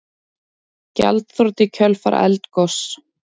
Gjaldþrot í kjölfar eldgoss